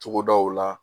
Togodaw la